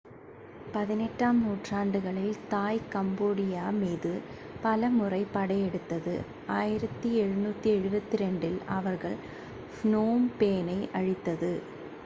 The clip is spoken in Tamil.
18 ஆம் நூற்றாண்டுகளில் தாய் கம்போடியா மீது பல முறை படையெடுத்தது 1772 இல் அவர்கள் ஃப்னோம் பெனை அழித்தது